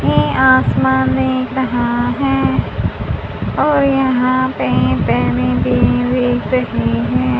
ये आसमान दिख रहा है और यहां पे भी दिख रही हैं।